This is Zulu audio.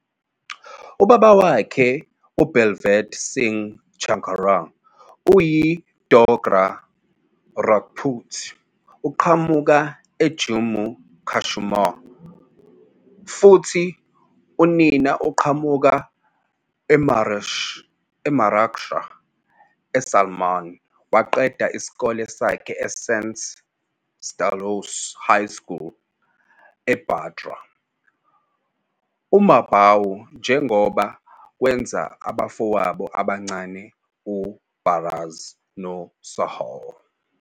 Ubaba wakhe uBaldev Singh Charak, oyi-Dogra Rajput, uqhamuka eJammu-Kashmir futhi onina uqhamuka eMaharashtra. USalman waqeda isikole sakhe eSt Stanislaus High School eBandra, eMumbai, njengoba kwenza abafowabo abancane u-Arbaaz noSohail.